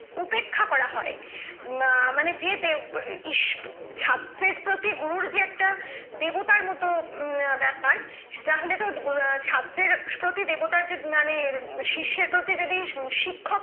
উপেক্ষা করা হয় মানে যে দেব ইস ছাত্রের প্রতি গুরুর যে একটা দেবতার মত ব্যাপার তাহলে তো ছাত্রের প্রতি দেবতার মানে শীর্ষের প্রতি যদি শিক্ষক